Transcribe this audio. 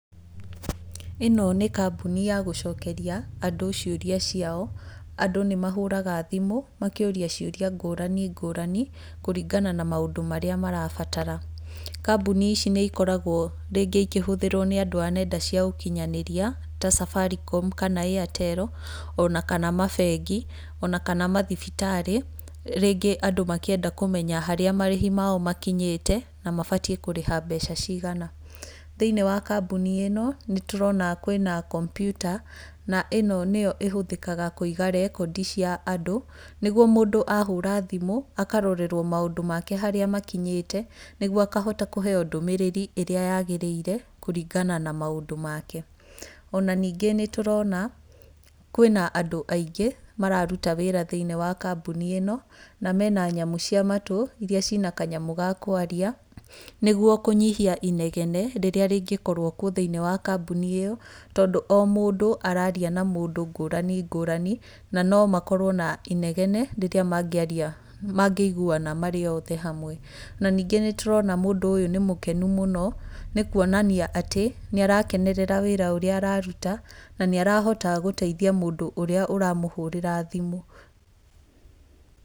Ĩno nĩ kambuni ya gũcokeria andũ ciũria ciao, andũ nĩ mahũraga thimũ, makĩũria ciũria ngũrani ngũrani, kũringana na maũndũ marĩa marabatara. Kambũni ici nĩ ikoragwo rĩngĩ ikĩhũthĩrwo nĩ andũ a nenda cia ũkinyanĩria ta Safaricom, kana Airtel, ona kana mabengi, ona kana mathibitarĩ, rĩngĩ andũ makĩenda kũmenya harĩa marĩhi mao makinyĩte, na mabatiĩ kũrĩha mbeca cigana. Thĩinĩi wa kambuni ĩno, nĩ tũrona kwĩna kompiuta, na ĩno nĩyo ĩhũthĩkaga kũiga rekondi cia andũ, nĩguo mũndũ ahũra thimũ, akarorerwo maũndũ make harĩa makinyĩte nĩguo akahota kũheyo ndũmĩrĩri ĩrĩa yagĩrĩire kũringana na maũndũ make. Ona ningĩ nĩ tũrona kwĩna andũ aingĩ, mararũta wĩĩra thĩinĩ wa kambuni ĩno, na mena nyamũ cia matũ, irĩa cina kanyamũ ga kũaria, nĩguo kũnyihia inegene rĩrĩa rĩngĩkorwo kuo thĩiniĩ wa kambuni ĩyo, tondũ o mũndũ araria na mũndũ ngũrani ngũrani, na no makorwo na inegene rĩrĩa mangĩaria mangĩiguana marĩ othe hamwe. Na ningĩ nĩ tũrona mũndũ ũyũ nĩ mũkenũ mũno, nĩ kuonania atĩ nĩ arakenerera wĩra ũrĩa ararũta, na nĩ arahota gũteithia mũndũ ũria ũramũhũrĩra thimũ.